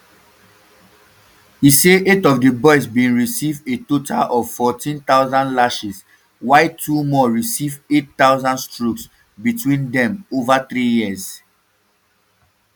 e say eight of di boys bin receive a total of fourteen thousand lashes while two more receive eight thousand strokes between dem um ova three years